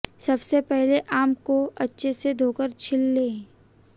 सबसे पहले आम को अच्छे से धोकर छिल लें